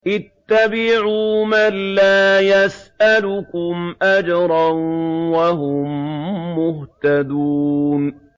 اتَّبِعُوا مَن لَّا يَسْأَلُكُمْ أَجْرًا وَهُم مُّهْتَدُونَ